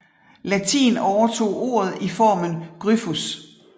Latin overtog ordet i formen gryphus